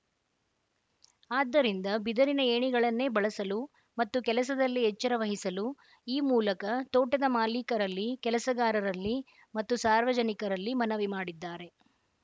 ಆದ್ದರಿಂದ ಬಿದರಿನ ಏಣಿಗಳನ್ನೇ ಬಳಸಲು ಮತ್ತು ಕೆಲಸದಲ್ಲಿ ಎಚ್ಚರ ವಹಿಸಲು ಈ ಮೂಲಕ ತೋಟದ ಮಾಲೀಕರಲ್ಲಿ ಕೆಲಸಗಾರರಲ್ಲಿ ಮತ್ತು ಸಾರ್ವಜನಿಕರಲ್ಲಿ ಮನವಿ ಮಾಡಿದ್ದಾರೆ